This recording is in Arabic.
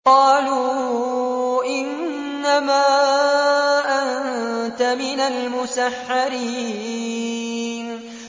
قَالُوا إِنَّمَا أَنتَ مِنَ الْمُسَحَّرِينَ